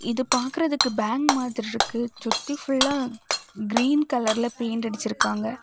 இது பாக்குறதுக்கு பேங் மாதிரி இருக்கு சுத்தி ஃபுல்லா கிரீன் கலர்ல பெயிண்ட் அடிச்சு இருக்காங்க.